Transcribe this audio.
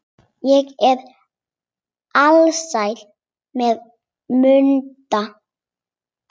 Ég er alsæl, sagði Munda.